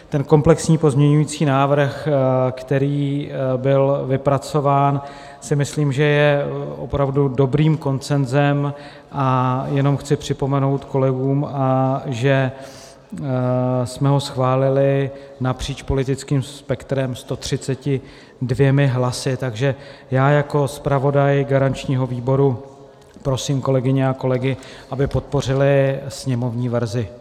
Ten komplexní pozměňovací návrh, který byl vypracován, si myslím, že je opravdu dobrým konsenzem, a jenom chci připomenout kolegům, že jsme ho schválili napříč politickým spektrem 132 hlasy, takže já jako zpravodaj garančního výboru prosím kolegyně a kolegy, aby podpořili sněmovní verzi.